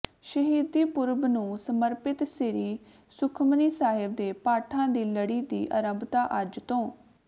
ਸ਼ਹੀਦੀ ਪੁਰਬ ਨੂੰ ਸਮਰਪਿਤ ਸ੍ਰੀ ਸੁਖਮਨੀ ਸਾਹਿਬ ਦੇ ਪਾਠਾਂ ਦੀ ਲੜੀ ਦੀ ਆਰੰਭਤਾ ਅੱਜ ਤੋਂ